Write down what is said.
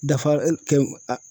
Dafa kɛ a